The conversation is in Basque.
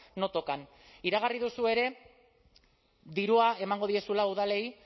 no tocan iragarri duzu ere dirua emango diezuela udalei